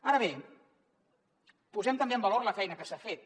ara bé posem també en valor la feina que s’ha fet